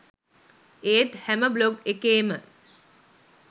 ඒත් හැම බ්ලොග් එකේම